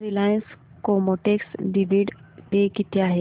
Reliance Chemotex dividend पे किती आहे